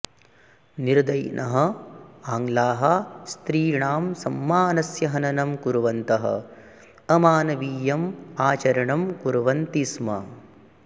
निर्दयिनः आङ्ग्लाः स्त्रीणां सम्मानस्य हननं कुर्वन्तः अमानवीयम् आचरणं कुर्वन्ति स्म